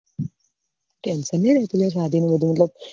tension નહિ રેહતું લા શાદી માં બધું મતલબ